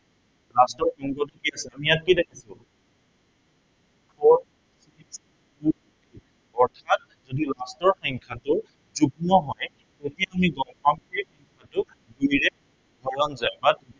last digit টো কি আছিলে। আমি ইয়াত কি দেখিছো four অৰ্থাত যদি last ৰ সংখ্য়াটো যুগ্ম হয়, তেতিয়া আমি গম পাম যে এইটো দুইৰে হৰণ যায়।